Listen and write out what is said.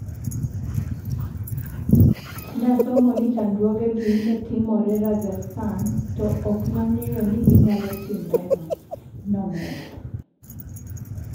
Ne asomo ni chandruogegi ne timore Rajasthan, to ok ne ang'eyo ni ginyalo timrena," ne omedo.